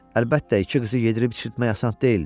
Əlbəttə, iki qızı yedirib içirtmək asan deyildi.